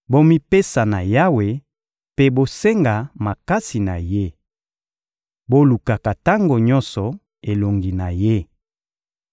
Bomipesa na Yawe mpe bosenga makasi na Ye! Bolukaka tango nyonso elongi na Ye!